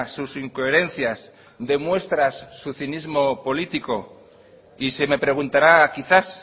sus incoherencias demuestras su cinismo político y se me preguntará quizás